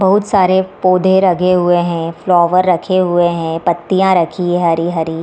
बहुत सारे पौधे रखे हुए हैं फ्लावर रखे हुए हैं पत्तियाँ रखी है हरी हरी |